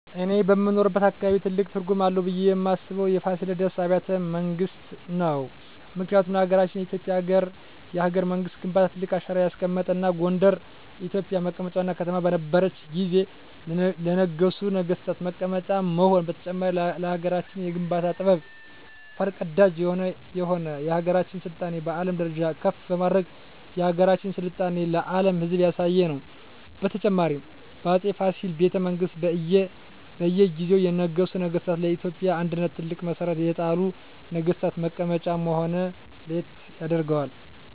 እኔ በምኖርበት አካባቢ ትልቅ ትርጉም አለው ብየ ማስበው የፋሲለደስ አቢያተ መንግስት ነው ምክንያቱም ለሀገረችን የኢትዮጵያ የሀገረ መንግስት ግንባታ ትልቅ አሻራ ያስቀመጠ እና ጎንደር የኢትዮጵ መቀመጫ ዋና ከተማ በነረችት ጊዜ ለነገሡ ነጠገስታት መቀመጫ መሆኑ በተጨማሪም ለሀገራችን የግንባታ ጥበብ ፈር ቀዳጅ የሆነ የሀገራችን ስልጣኔ በአለም ደረጃ ከፍ በማድረግ የሀገራችን ስልጣኔ ለአም ህዝብ ያሳየ ነው። በተጨማሪም በ አፄ ፋሲል ቤተመንግስት በእየ ጊዜው የነገሱ ነገስታ ለኢትዮጵያ አንድነት ትልቅ መሠረት የጣሉ ነግስታት መቀመጫ መሆነ ለየት ያደርገዋል።